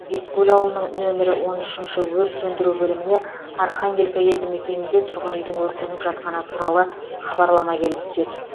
бескөл ауылының нөмірі он үшінші өрт сөндіру бөліміне архангелка елдімекенінде тұрғын үйдің өртеніп жатқаны туралы хабарлама келіп түседі